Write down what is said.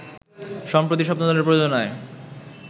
সম্প্রতি স্বপ্নদলের প্রযোজনায়